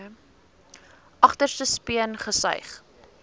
agterste speen gesuig